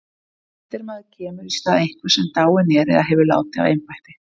eftirmaður kemur í stað einhvers sem dáinn er eða hefur látið af embætti